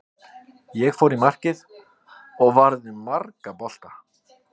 Ég fór í markið og varði marga bolta.